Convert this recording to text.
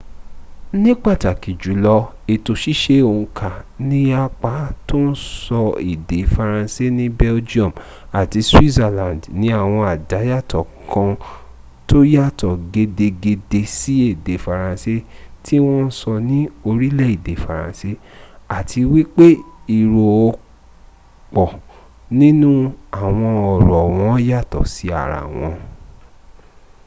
ni pataki julo eto sise onka ni apa to n so ede faranse ni belgium ati switzerland ni awon adayato kan to yato gedegede si ede faranse ti won n so ni orile ede faranse ati wipe iro opo ninu awon oro won yato si ara won